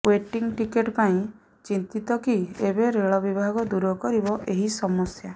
waiting ticket ପାଇଁ ଚିନ୍ତିତ କି ଏବେ ରେଳ ବିଭାଗ ଦୂର କରିବ ଏହି ସମସ୍ୟା